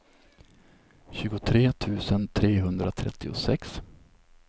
tjugotre tusen trehundratrettiosex